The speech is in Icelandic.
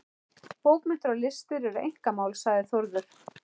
Bókmenntir og listir eru einkamál, sagði Þórður.